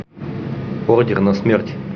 ордер на смерть